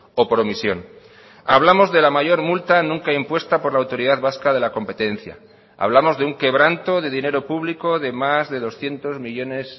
o por omisión hablamos de la mayor multa nunca impuesta por la autoridad vasca de la competencia hablamos de un quebranto de dinero público de más de doscientos millónes